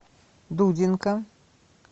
дудинка